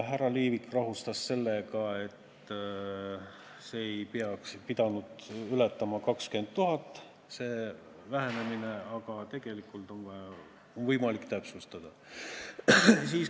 Härra Liivik rahustas, et see vähenemine ei pidanud ületama 20 000 eurot, aga tegelikult on võimalik täpsustada.